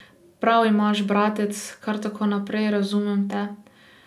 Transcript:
Prav imaš, bratec, kar tako naprej, razumem te.